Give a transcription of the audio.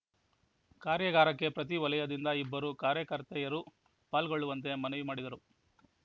ಕಾರ್ಯಾಗಾರಕ್ಕೆ ಪ್ರತಿ ವಲಯದಿಂದ ಇಬ್ಬರು ಕಾರ್ಯಕರ್ತೆಯರು ಪಾಲ್ಗೊಳ್ಳುವಂತೆ ಮನವಿ ಮಾಡಿದರು